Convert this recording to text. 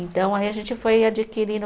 Então, aí a gente foi adquirindo.